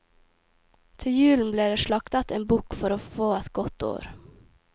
Til julen ble det slaktet en bukk for å få et godt år.